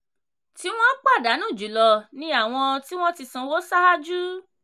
tí wọn pàdánù jùlọ ni àwọn tí wọ́n ti sanwó ṣáájú.